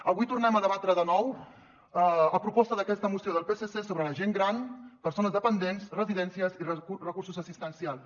avui tornem a debatre de nou a proposta d’aquesta moció del psc sobre la gent gran persones dependents residències i recursos assistencials